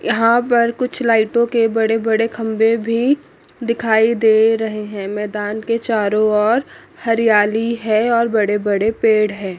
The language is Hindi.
यहां पर कुछ लाईटों के बड़े-बड़े खंभे भी दिखाई दे रहे है मैदान के चारों और हरियाली है और बड़े-बड़े पेड़ हैं।